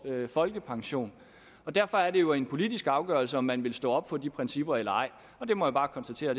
folkepension derfor er det jo en politisk afgørelse om man vil stå op for de principper eller ej og det må jeg bare konstatere